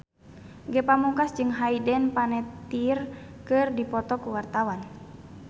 Ge Pamungkas jeung Hayden Panettiere keur dipoto ku wartawan